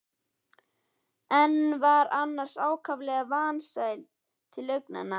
en var annars ákaflega vansæll til augnanna.